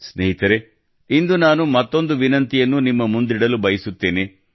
ಸ್ನೇಹಿತರೇ ಇಂದು ನಾನು ಮತ್ತೊಂದು ವಿನಂತಿಯನ್ನು ನಿಮ್ಮ ಮುಂದಿಡಲು ಬಯಸುತ್ತೇನೆ